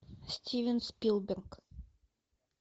стивен спилберг